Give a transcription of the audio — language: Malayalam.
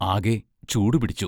ആകെ ചൂടുപിടിച്ചു....